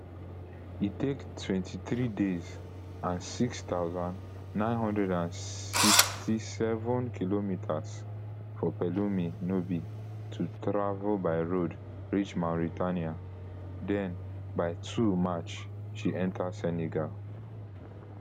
e take twenty-three days and six thousand, nine hundred and sixty-seven kilometres for pelumi nubi to travel by road reach mauritania den by two march she enta senegal